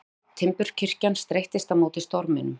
Veðruð timburkirkjan streittist á móti storminum.